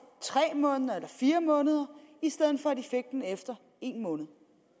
tre måneder eller fire måneder i stedet for efter en måned